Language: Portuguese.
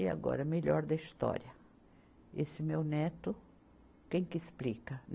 E agora, melhor da história, esse meu neto, quem que explica?